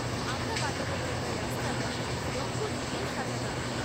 আমরা বাড়িতে ঢোকার রাস্তাটা রঙ্গোলী দিয়ে সাজাতাম।